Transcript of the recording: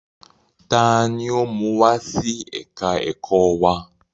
Taani ó mú wá sí ẹ̀ka ẹ̀kọ́ wa?